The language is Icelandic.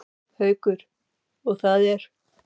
Haukur: Og það er?